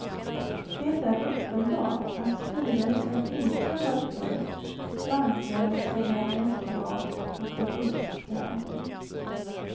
Det är uppenbart att styrelsen inte har följt bankrörelselagens krav på kreditprövning.